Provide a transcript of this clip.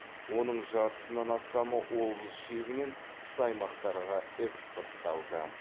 оның жартысынан астамы облыс шегінен тыс аймақтарға экспортталды